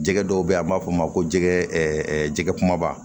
Jɛgɛ dɔw bɛ yen a b'a fɔ o ma ko jɛgɛ jɛgɛ kumaba